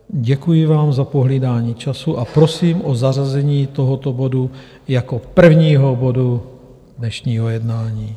Děkuji vám za pohlídání času a prosím o zařazení tohoto bodu jako prvního bodu dnešního jednání.